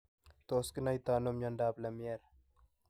Tos kinaita ano miandoab Lemierre?